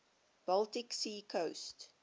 baltic sea coast